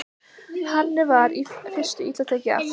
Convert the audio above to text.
Henni var í fyrstu illa tekið af